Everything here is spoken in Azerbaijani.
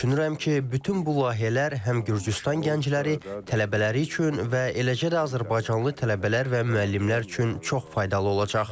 Düşünürəm ki, bütün bu layihələr həm Gürcüstan gəncləri, tələbələri üçün və eləcə də azərbaycanlı tələbələr və müəllimlər üçün çox faydalı olacaq.